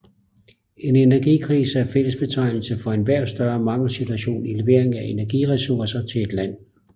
En energikrise er en fællesbetegnelse for enhver større mangelsituation i leveringen af energiressourcer til et land